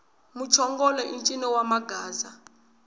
muchongolo i ncino wa magaza